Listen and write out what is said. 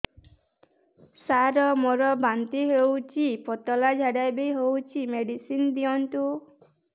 ସାର ମୋର ବାନ୍ତି ହଉଚି ପତଲା ଝାଡା ବି ହଉଚି ମେଡିସିନ ଦିଅନ୍ତୁ